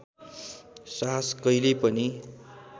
साहस कहिल्यै पनि